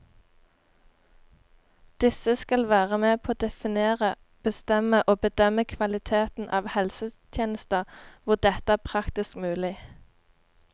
Disse skal være med på å definere, bestemme og bedømme kvaliteten av helsetjenester hvor dette er praktisk mulig.